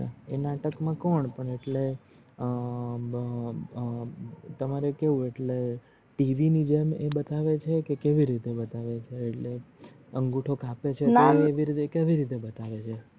આ નાટક મા કોણ પણ આટલે અ અ તમારે કેવું આટલે TV ની જેમ બતાવે છે કે કેવી રીતે બતાવે છે આટલે અંગુઠો કાપે છે અ કેવી રીતે બતાવે છે.